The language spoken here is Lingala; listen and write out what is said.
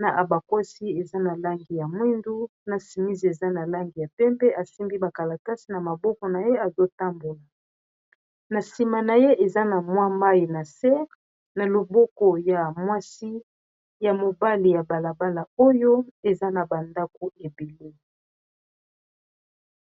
na abakwosi eza na langi ya mwindu na simis eza na langi ya pempe asimbi bakala kasi na maboko na ye azotambola na nsima na ye eza na mwa mai na se na loboko ya mwasi ya mobali ya balabala oyo eza na bandako ebelo.